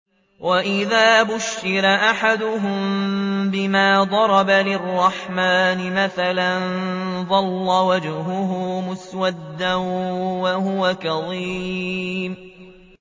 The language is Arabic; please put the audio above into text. وَإِذَا بُشِّرَ أَحَدُهُم بِمَا ضَرَبَ لِلرَّحْمَٰنِ مَثَلًا ظَلَّ وَجْهُهُ مُسْوَدًّا وَهُوَ كَظِيمٌ